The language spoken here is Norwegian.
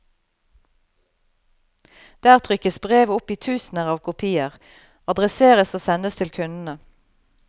Der trykkes brevet opp i tusener av kopier, adresseres og sendes til kundene.